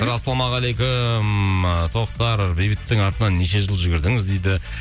ассалаумағалейкум і тоқтар бейбіттің артынан неше жыл жүгірдіңіз дейді